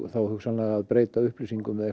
þá hugsanlega að breyta upplýsingum eða